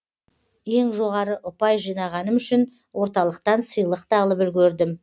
ең жоғары ұпай жинағаным үшін орталықтан сыйлық та алып үлгердім